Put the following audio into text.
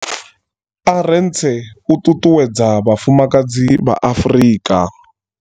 Arendse u ṱuṱuwedza vhafumakadzi vha Afrika.